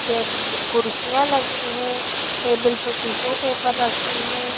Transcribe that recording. टेब कुर्सियां लगी हैं टेबल पर टिशू पेपर रखे हैं।